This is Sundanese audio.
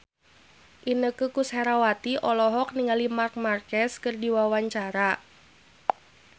Inneke Koesherawati olohok ningali Marc Marquez keur diwawancara